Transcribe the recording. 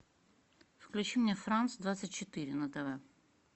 включи мне франс двадцать четыре на тв